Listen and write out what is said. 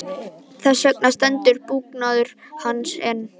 Þess vegna stendur búgarður hans enn.